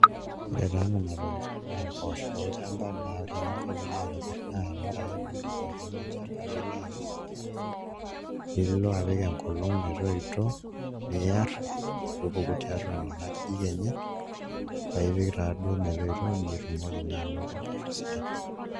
Ore taa nena tokitin naa mpoosho olchamba naa ore eninko pee ilo aitobirr ore ake piidip atuuno olchamba piilo akes nilo apik enkolong' metoito niaarr metupuku tiatua nena ajijik enye paa ipik taaduo metoito paa itumoki naa anoto mpoosho sidan.